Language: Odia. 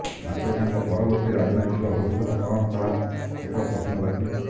ମାତ୍ର ତାଙ୍କ ପରବର୍ତ୍ତୀ ରାଜନୈତିକ ଭବିଷ୍ୟତ କଣ ତାହା ଏକ ପ୍ରଶ୍ନବାଚୀ